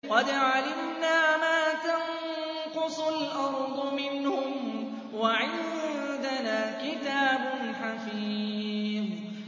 قَدْ عَلِمْنَا مَا تَنقُصُ الْأَرْضُ مِنْهُمْ ۖ وَعِندَنَا كِتَابٌ حَفِيظٌ